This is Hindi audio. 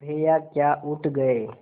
भैया क्या उठ गये